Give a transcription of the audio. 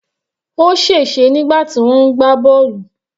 Ó sè se nígbà tí wọ́n ń gbá bọ́ọ̀lù.